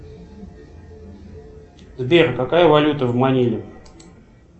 сбер какая валюта в маниле